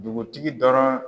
Dugutigi dɔrɔn.